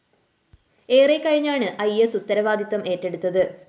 ഏറെക്കഴിഞ്ഞാണ് ഇ സ്‌ ഉത്തരവാദിത്തം ഏറ്റെടുത്തത്